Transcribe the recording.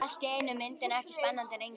Allt í einu er myndin ekki spennandi lengur.